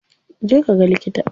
Je ka ga likita.